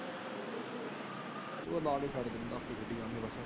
ਉਹ ਤਾ ਲਾ ਕੇ ਛੱਡ ਦੇਇ ਦਾ।